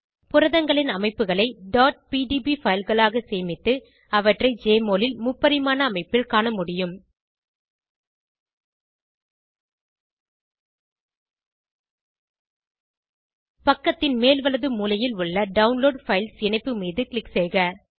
புரதங்களின் அமைப்புகளை pdb fileகளாக சேமித்து அவற்றை ஜெஎம்ஒஎல் ல் முப்பரிமாண அமைப்பில் காண முடியும் பக்கத்தின் மேல் வலது மூலையில் உள்ள டவுன்லோட் பைல்ஸ் இணைப்பு மீது க்ளிக் செய்க